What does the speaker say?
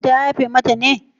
Kotun ta yafe mata ne?